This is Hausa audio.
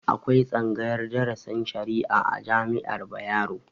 Akwai tsaagayar drasin shari'a a jami'ar Bayero